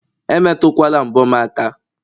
Emetukwala mbo m aka!